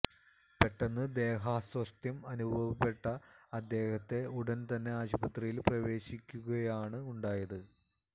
പെട്ടെന്ന് ദേഹാസ്വാസ്ഥ്യം അനുഭവപ്പെട്ട അദ്ദേഹത്തെ ഉടന് തന്നെ ആശുപത്രിയില് പ്രവേശിപ്പിക്കുകയാണ് ഉണ്ടായത്